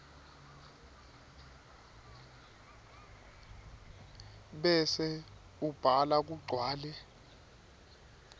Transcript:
bese ubhala kugcwale